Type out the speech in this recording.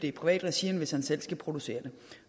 i privat regi end hvis han selv skal producere det